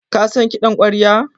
Ka san kiɗan ƙwarya?